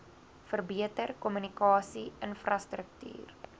verbeter kommunikasie infrastruktuur